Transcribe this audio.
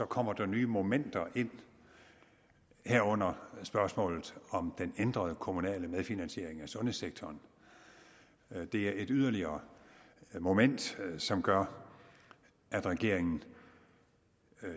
kommer der nye momenter ind herunder spørgsmålet om den ændrede kommunale medfinansiering af sundhedssektoren det er yderligere et moment som gør at regeringen